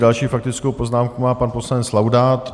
Další faktickou poznámku má pan poslanec Laudát.